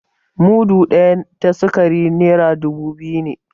Mudu ɗaya ta sikari naira dubu biyu ne